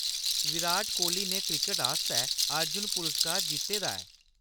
विराट कोहली ने क्रिकट आस्तै अर्जुन पुरस्कार जित्ते दा ऐ।